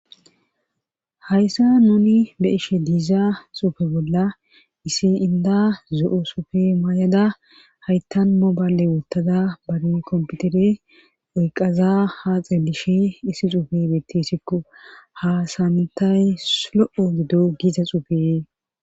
Hayssa nuni be ishe diiza xuufe bolla issi inda zo7o sufe maay7ada hayttan mobayale wottada bari komputere oyqaza haaxe bishi issi xuufe beettessikko hasantay lo7o gido giza xuufee.